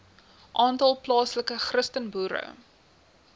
aantal plaaslike christenboere